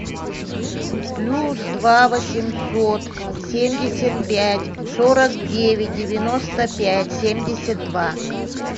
плюс два восемьсот семьдесят пять сорок девять девяносто пять семьдесят два